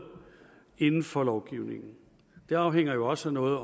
inden for lovgivningen det afhænger jo også af noget